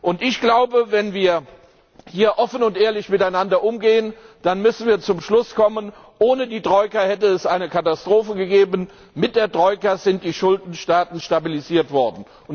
Und ich glaube, wenn wir hier offen und ehrlich miteinander umgehen, dann müssen wir zum Schluss kommen Ohne die Troika hätte es eine Katastrophe gegeben. Mit der Troika sind die Schuldenstaaten stabilisiert worden.